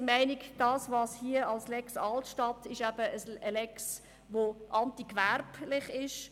Wir sind der Meinung, die vorgeschlagene «Lex Altstadt» sei ein Gesetz, das antigewerblich ist.